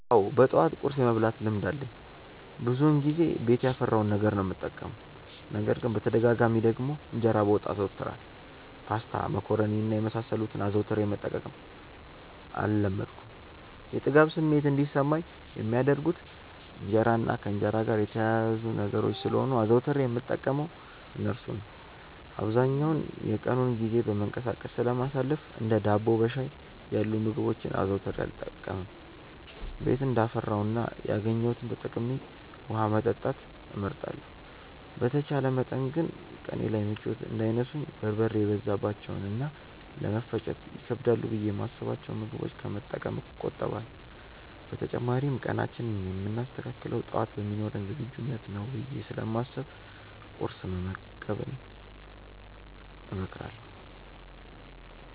አዎ በጠዋት ቁርስ የመብላት ልማድ አለኝ። ብዙውን ጊዜ ቤት ያፈራውን ነገር ነው የምጠቀመው። ነገር ግን በተደጋጋሚ ደግሞ እንጀራ በወጥ አዘወትራለሁ። ፓስታ፣ መኮሮኒ እና የመሳሰሉትን አዘውትሬ መጠቀም አልለመድኩም። የጥጋብ ስሜት እንዲሰማኝ የሚያደርጉት እንጀራ እና ከእንጀራ ጋር የተያያዙ ነገሮች ስለሆኑ አዘውትሬ የምጠቀመው እርሱን ነው። አብዛኛውን የቀኑን ጊዜ በመንቀሳቀስ ስለማሳልፍ እንደ ዳቦ በሻይ ያሉ ምግቦችን አዘውትሬ አልጠቀምም። ቤት እንዳፈራው እና ያገኘሁትን ተጠቅሜ ውሀ መጠጣት እመርጣለሁ። በተቻለ መጠን ግን ቀኔ ላይ ምቾት እንዳይነሱኝ በርበሬ የበዛባቸውን እና ለመፈጨት ይከብዳሉ ብዬ የማስብቸውን ምግቦች ከመጠቀም እቆጠባለሁ። በተጨማሪም ቀናችንን የምናስተካክለው ጠዋት በሚኖረን ዝግጁነት ነው ብዬ ስለማስብ ቁርስ መመገብን እመክራለሁ።